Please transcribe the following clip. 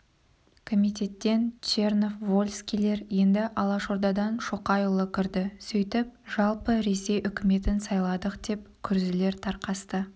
комитеттен чернов вольскийлер енді алашордадан шоқайұлы кірді сөйтіп жалпы ресей үкіметін сайладық деп күрзілер тарқасты